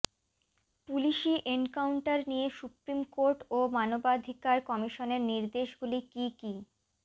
পুলিশি এনকাউন্টার নিয়ে supreme court ও মানবাধিকার কমিশনের নির্দেশগুলি কী কী